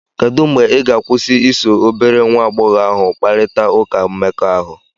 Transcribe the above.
Kedụ mgbe ị ga-akwụsị iso obere nwa agbọghọ ahụ kparịta ụka mmekọahụ?